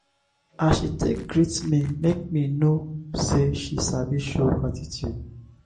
as she take greet me make me know sey she sabi show gratitude.